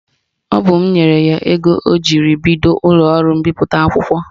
Ọ bụ m nyere ya ego ọ jiri bido ụlọọrụ mbipụta akwụkwọ